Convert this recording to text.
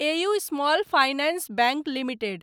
AU small finance bank limited